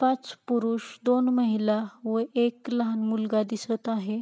पाच पुरुष दोन माहिला व एक लहान मुलगा दिसत आहे.